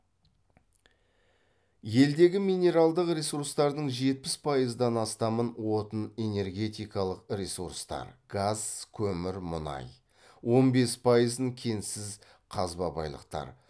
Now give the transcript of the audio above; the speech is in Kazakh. елдегі минералдық ресурстардың жетпіс пайыздан астамын отын энергетикалық ресурстар газ көмір мұнай он бес пайызын кенсіз қазба байлықтар